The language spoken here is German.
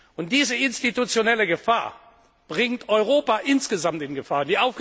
Und diese institutionelle Gefahr bringt Europa insgesamt in Gefahr.